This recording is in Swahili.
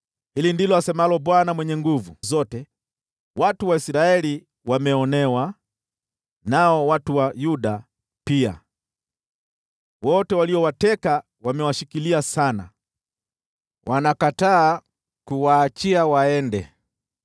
Hili ndilo asemalo Bwana Mwenye Nguvu Zote: “Watu wa Israeli wameonewa, nao watu wa Yuda pia. Wote waliowateka wamewashikilia sana, wanakataa kuwaachia waende.